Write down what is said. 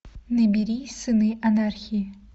набери сыны анархии